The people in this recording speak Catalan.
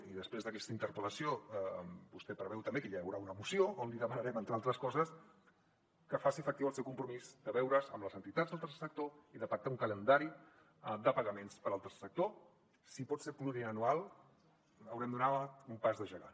i després d’aquesta interpel·lació vostè prevegi també que hi haurà una moció en què li demanarem entre altres coses que faci efectiu el seu compromís de veure’s amb les entitats del tercer sector i de pactar un calendari de pagaments per al tercer sector si pot ser pluriennal haurem donat un pas de gegant